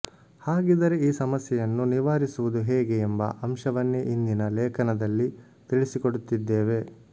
ಹಾಗಿದ್ದರೆ ಈ ಸಮಸ್ಯೆಯನ್ನು ನಿವಾರಿಸುವುದು ಹೇಗೆ ಎಂಬ ಅಂಶವನ್ನೇ ಇಂದಿನ ಲೇಖನದಲ್ಲಿ ತಿಳಿಸಿಕೊಡುತ್ತಿದ್ದೇವೆ